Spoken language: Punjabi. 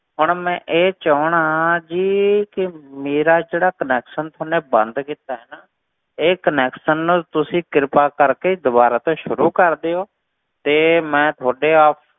ਹੁਣ ਮੈਂ ਇਹ ਚਾਹੁਨਾ ਜੀ ਕਿ ਮੇਰਾ ਜਿਹੜਾ connection ਥੋਨੇ ਬੰਦ ਕੀਤਾ ਹੈ ਨਾ, ਇਹ connection ਨੂੰ ਤੁਸੀਂ ਕਿਰਪਾ ਕਰਕੇ ਦੁਬਾਰਾ ਤੋਂ ਸ਼ੁਰੂ ਕਰ ਦਿਓ, ਤੇ ਮੈਂ ਤੁਹਾਡੇ